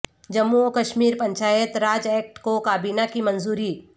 جموں و کشمیر پنچایت راج ایکٹ کو کابینہ کی منظوری